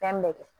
Fɛn bɛɛ kɛ